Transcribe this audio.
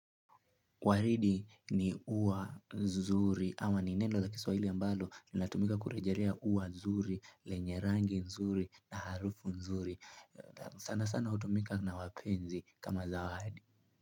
Waridi ni ua nzuri, ama ni neno la kiswahili ambalo, linatumika kurejelea ua nzuri, lenye rangi nzuri, na harufu nzuri. Sana sana hutumika na wapenzi kama zawadi.